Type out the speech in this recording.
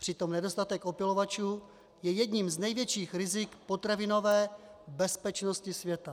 Přitom nedostatek opylovačů je jedním z největších rizik potravinové bezpečnosti světa.